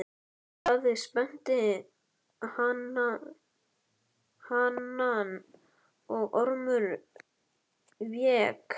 Daði spennti hanann og Ormur vék.